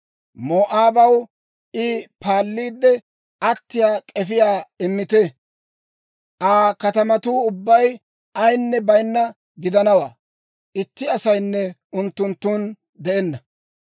Moo'aabaw I paalliide attiyaa k'efiyaa immite. Aa katamatuu ubbay ayinne baynnawaa gidana; itti asaynne unttunttun de'enna.